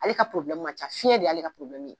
Ale ka man ca fiɲɛ de y'ale ka ye